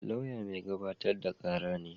Lauya mai gabatar da kara ne